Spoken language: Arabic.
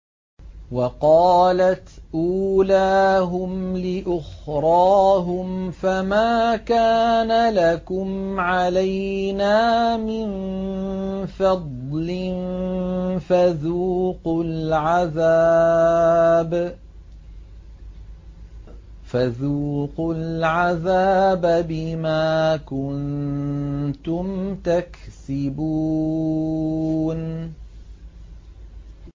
وَقَالَتْ أُولَاهُمْ لِأُخْرَاهُمْ فَمَا كَانَ لَكُمْ عَلَيْنَا مِن فَضْلٍ فَذُوقُوا الْعَذَابَ بِمَا كُنتُمْ تَكْسِبُونَ